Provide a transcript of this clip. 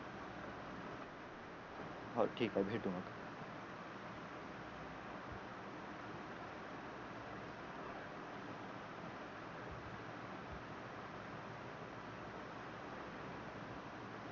हो ठीक आहे भेटू मग